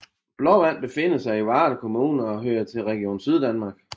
Blåvand befinder sig i Varde Kommune og hører til Region Syddanmark